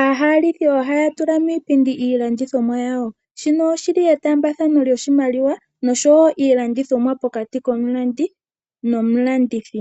Aahalitji ohaya tula miipindi iilandithomwa yawo, shino oshi li etaambathano loshimaliwa noshowo iilandithomwa pokati komulandi nomulandithi.